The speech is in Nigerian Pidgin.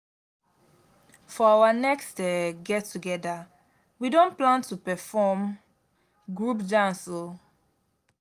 for our next um get together we don plan to perform group dance o